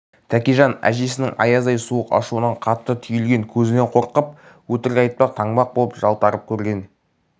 тәкежан әжесінің аяздай суық ашуынан қатты түйілген көзінен қорқып өтірік айтпақ танбақ боп жалтарып көрген